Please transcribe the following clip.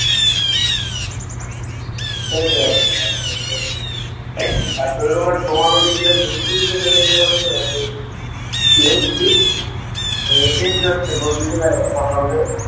সেই ব্যাচ তোমাদের দিকে কি কি মিটিং